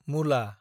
मुला